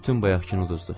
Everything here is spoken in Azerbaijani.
Bütün bayaqkını uduzduq.